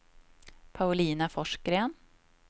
Paulina Forsgren